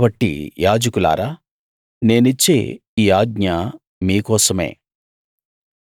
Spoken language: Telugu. కాబట్టి యాజకులారా నేనిచ్చే ఈ ఆజ్ఞ మీ కోసమే